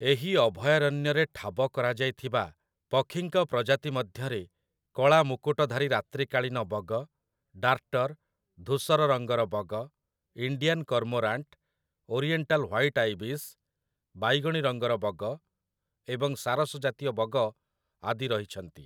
ଏହି ଅଭୟାରଣ୍ୟରେ ଠାବ କରାଯାଇଥିବା ପକ୍ଷୀଙ୍କ ପ୍ରଜାତି ମଧ୍ୟରେ କଳା ମୁକୁଟଧାରୀ ରାତ୍ରିକାଳୀନ ବଗ, ଡାର୍ଟର୍, ଧୂସର ରଙ୍ଗର ବଗ, Indian cormorant, oriental white ibis, ବାଇଗଣି ରଙ୍ଗର ବଗ, ଏବଂ ସାରସ ଜାତୀୟ ବଗ ଆଦି ରହିଛନ୍ତି ।